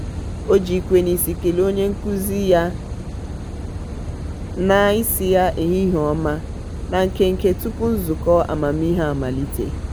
o ji ikwe n'isi kelee onye nkụzi ya na isi ya "ehihie ọma" na nkenke tupu nzukọ amamihe amalite.